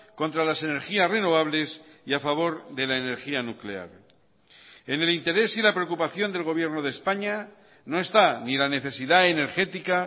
contra las energías renovables y a favor de la energía nuclear en el interés y la preocupación del gobierno de españa no está ni la necesidad energética